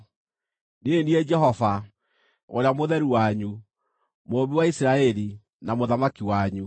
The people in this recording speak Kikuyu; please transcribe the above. Niĩ nĩ niĩ Jehova, Ũrĩa Mũtheru wanyu, Mũũmbi wa Isiraeli, na Mũthamaki wanyu.”